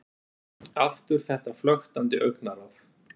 Aftur þetta flöktandi augnaráð.